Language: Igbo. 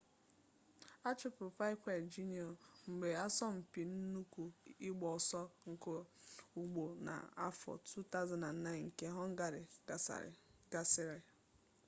achụpụrụ piquet jr mgbe asọmpi nnukwu ịgba ọsọ nke ụgbọ n'afọ 2009 nke họngarị gasịrị